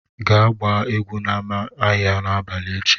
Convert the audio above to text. Gaa gbaa egwu n'ámá ahịa n'abalị echi!